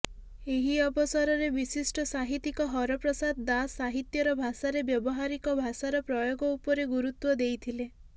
ଏହି ଅବସରରେ ବିଶିଷ୍ଟ ସାହିତ୍ୟିକ ହରପ୍ରସାଦ ଦାସ ସାହିତ୍ୟର ଭାଷାରେ ବ୍ୟବହାରିକ ଭାଷାର ପ୍ରୟୋଗ ଉପରେ ଗୁରୁତ୍ୱ ଦେଇଥିଲେ